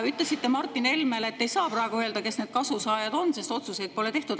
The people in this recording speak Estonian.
Ütlesite Martin Helmele, et te ei saa praegu öelda, kes need kasusaajad on, sest otsuseid pole tehtud.